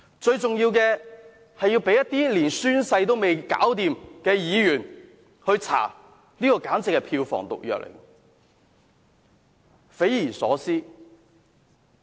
最重要的是，事件如果被一些連宣誓也未能完成的議員來調查，簡直會是票房毒藥，匪夷所思。